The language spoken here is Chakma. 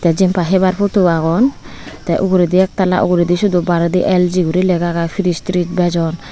jenpai hebar futo agon te uguredi ektalla sioto baredi elgi guri lega agey fris tris bejon.